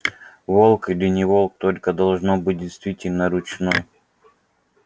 волк или не волк только должно быть действительно ручной